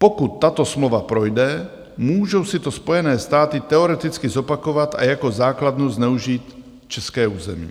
Pokud tato smlouva projde, můžou si to Spojené státy teoreticky zopakovat a jako základnu zneužít české území,